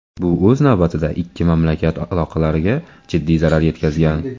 Bu o‘z navbatida, ikki mamlakat aloqalariga jiddiy zarar yetkazgan.